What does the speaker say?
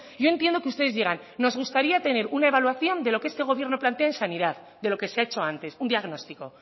yo entiendo que ustedes digan nos gustaría tener una evaluación de lo que este gobierno plantea en sanidad de lo que se ha hecho antes un diagnóstico